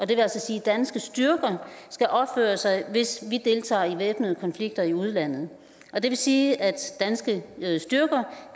det vil sige danske styrker skal opføre sig hvis vi deltager i væbnede konflikter i udlandet det vil sige at danske styrker